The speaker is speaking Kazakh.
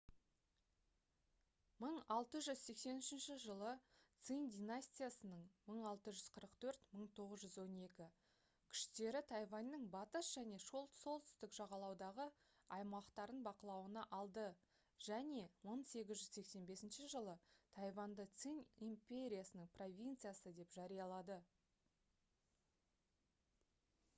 1683 жылы цинь династиясының 1644-1912 күштері тайваньның батыс және солтүстік жағалаудағы аумақтарын бақылауына алды және 1885 жылы тайваньды цинь империясының провинциясы деп жариялады